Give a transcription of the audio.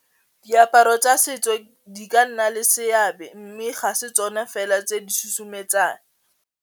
Diaparo tsa setso di ka nna le seabe mme ga tsone fela tse di susumetsang.